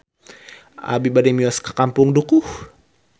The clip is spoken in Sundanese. Abi bade mios ka Kampung Dukuh